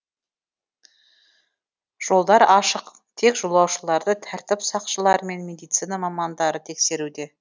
жолдар ашық тек жолаушыларды тәртіп сақшылары мен медицина мамандары тексеруде